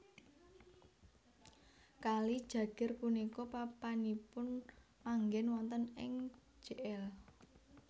Kali Jagir punika papanipun manggén wontèn ing Jl